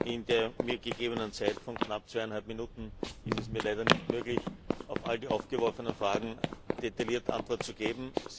In der mir gegebenen Zeit von knapp zweieinhalb Minuten ist es mir leider nicht möglich, auf all die aufgeworfenen Fragen detailliert Antwort zu geben.